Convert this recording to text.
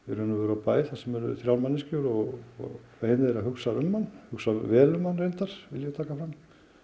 á bæ þar sem eru þrjár manneskjur og ein þeirra hugsar um hann hugsar vel um hann vil ég taka fram